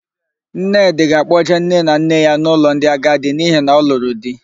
Nnedị ga-akpọjee nne na nne ya n'ụlọ ndị agadi n'ihi na ọ lụrụ di.